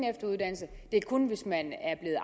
efteruddannelse det er kun hvis man er